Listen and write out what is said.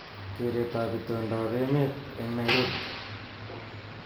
Keretab itondoab emet eng Nairobi